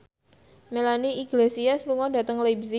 Melanie Iglesias lunga dhateng leipzig